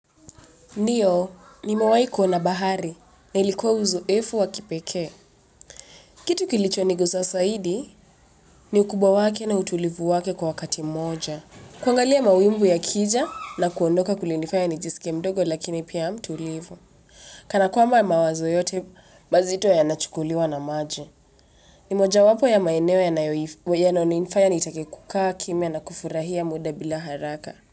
Ndiyo, nimewahi kwenda bahari, na ilikuwa uzoefu wa kipekee. Kitu kilicho ni guza zaidi, ni ukubwa wake na utulivu wake kwa wakati mmoja. Kuangalia mawimbi yakija na kuondoka kulinifaya nijisike mdogo lakini pia mtulivu. Kana kwamba mawazo yote, mazito yanachukuliwa na maji. Ni mojawapo ya maeneo yanayonifanya nitake kukaa kimya na kufurahia muda bila haraka.